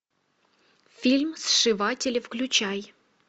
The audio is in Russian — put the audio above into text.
фильм сшиватели включай